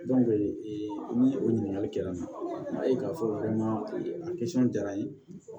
ee ni o ɲininkali kɛla n'a ye k'a fɔ maa kɛta ye